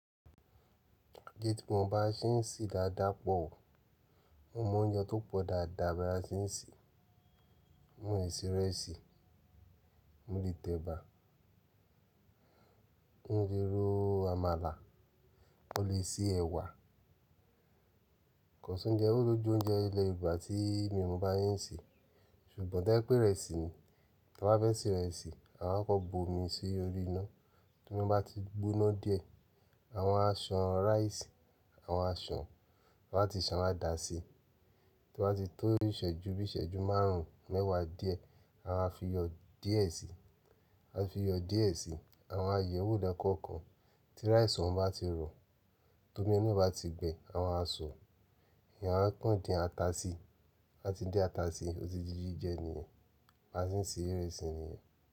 Gé tí mo bá ṣé n sì dáadáa pọ̀ o. Mo mọ oúnjẹ tó pọ̀ dáadáa bí a ṣé ń se. Mó ń ṣe ìrẹsì, mó le tẹ ẹ̀bà, mó le ro amala, mó lè sé ẹ̀wà. Kosi óunjẹ́ olójú oúnjẹ ilẹ̀ Yorùbá tí mò ń bá shen ṣe. Sùgbọ́n tẹ́ pé ìrẹsì ni. Tí wọ́n bá fẹ́ se ìrẹsì, àma á kọ́kọ bu omi sí orí iná. Tí omi bá ti gbóná díẹ̀, àwa á ṣan ráìsì, àwa á ṣan, taba ti ṣan adàsi. Tí wọ́n bá ti tó ìṣẹ́jú bí iṣẹ́jú márùn-ún, mẹ́wàá díẹ̀, àwa á fi yọ díẹ̀ síi. À á fi yọ díẹ̀ síi. Àw á yẹ̀wò lẹ́kọ̀ọ̀kan. Tí ráìsì ọ́n bá ti rọ, to omi inuẹ bá ti gbẹ, àwa á sọ, ìyàn á kan dín ata sí. Á ti din ata sí, ó ti jíjí jẹ́ nìyẹn. Á ti ń se ìrẹsì nìyẹn.